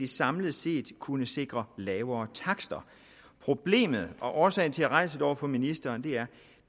samlet set kunne sikre lavere takster problemet og årsagen til at jeg rejser det over for ministeren